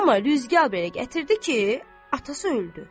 Amma rüzgar belə gətirdi ki, atası öldü.